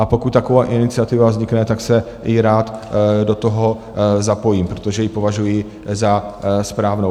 A pokud taková iniciativa vznikne, tak se i rád do toho zapojím, protože ji považuji za správnou.